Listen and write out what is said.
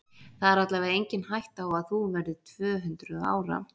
Það er allavega engin hætta á að þú verðir tvö-hundruð ára.